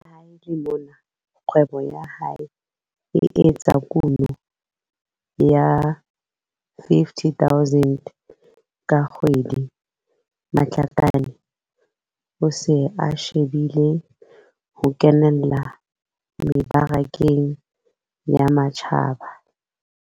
Le ha e le mona kgwebo ya hae e etsa kuno ya R50 000 ka kgwedi, Matlakane o se a shebile ho kenella mebarakeng ya matjhaba.